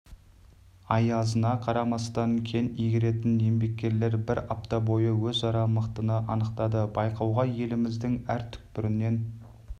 аязына қарамастан кен игеретін еңбеккерлер бір апта бойы өзара мықтыны анықтады байқауға еліміздің әр түкпірінен